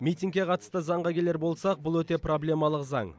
митингке қатысты заңға келер болсақ бұл өте проблемалық заң